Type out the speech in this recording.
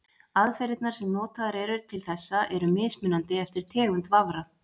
aðferðirnar sem notaðar eru til þessa eru mismunandi eftir tegund vafra